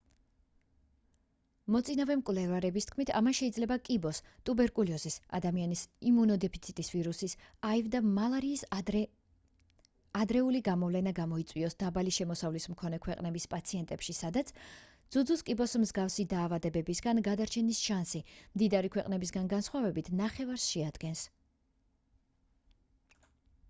მოწინავე მკვლევარების თქმით ამან შეიძლება კიბოს ტუბერკულოზის ადამიანის იმუნოდეფიციტის ვირუსის აივ და მალარიის ადრეული გამოვლენა გამოიწვიოს დაბალი შემოსავლის მქონე ქვეყნების პაციენტებში სადაც ძუძუს კიბოს მსგავსი დაავადებებისგან გადარჩენის შანსი მდიდარი ქვეყნებისგან განსხვავებით ნახევარს შეადგენს